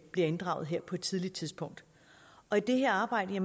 bliver inddraget på et tidligt tidspunkt og i det her arbejde